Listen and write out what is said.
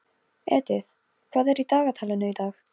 Edith, hvað er á dagatalinu í dag?